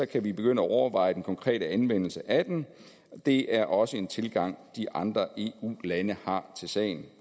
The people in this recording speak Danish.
kan vi begynde at overveje den konkrete anvendelse af den det er også en tilgang de andre eu lande har til sagen